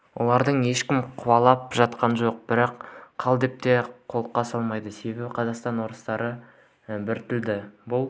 оларды ешкім қуалап жатқан жоқ бірақ қал деп те қолқа салмайды себебі қазақстандағы орыстар біртілді бұл